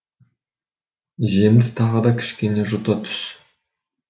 жемді тағы да кішкене жұта түс